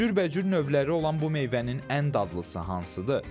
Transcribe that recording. Cürbəcür növləri olan bu meyvənin ən dadlısı hansıdır?